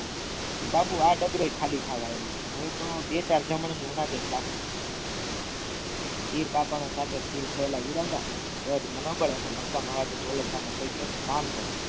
કે બાપુ આ ડગલો એ ખાલી થવા આવ્યો હવે તો બે ચાર જમણે બાકી હીર પાપણ ચીર ફેઈલા દર મનોબડે ને મક્કમ અવાજ દોલતરામ એ કહ્યું એક કામ કર